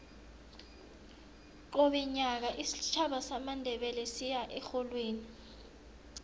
qobe nyaka isitjhaba samandebele siya erholweni